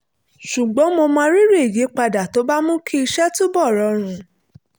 ṣùgbọ́n mo mọrírì ìyípadà tó bá mú kí iṣẹ́ túbọ̀ rọrùn